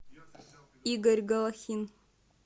игорь голохин